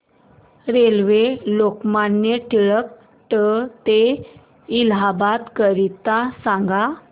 railway Lokmanya Tilak T ते इलाहाबाद करीता सांगा